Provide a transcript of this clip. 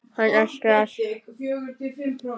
Hann öskrar.